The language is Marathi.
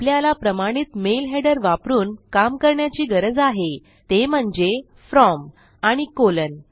आपल्याला प्रमाणित मेल हेडर वापरून काम करण्याची गरज आहे ते म्हणजे From आणि कॉलन